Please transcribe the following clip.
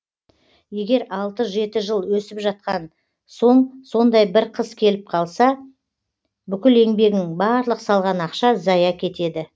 егер алты жеті жыл өсіп жатқан соң сондай бір қыс келіп қалса бүкіл еңбегің барлық салған ақша зая кетеді